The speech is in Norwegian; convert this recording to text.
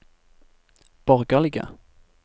borgerlige